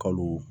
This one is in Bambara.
Kalo